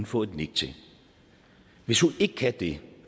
få et nik til hvis hun ikke kan det